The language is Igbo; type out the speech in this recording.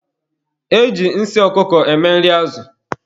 E ji nsị ọkụkọ eme nri azụ.